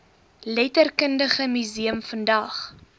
letterkundige museum vandag